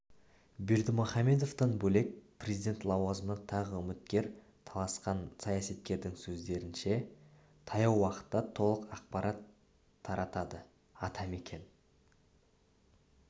бердімұхамедовтан бөлек президент лауазымына тағы үміткер таласқан саясаткердің сөздерінше таяу уақытта толық ақпарат таратады ата мекен